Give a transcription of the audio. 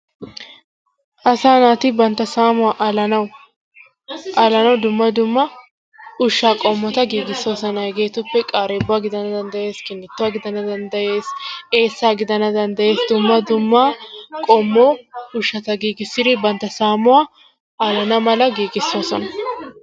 Asaa naati bantta saamuwa alanawu dumma dumma ushshaa qomota giigisosonna. Hageetuppekka qareebuwa gidana dandayees, eessaa gidana dandayees dumma dumma qommo ushshata giigissidi bantta saammuwaa alana mala giigisosona.